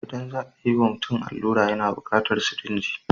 Idan za a yiwa mutum allura yana bukatar sirinji.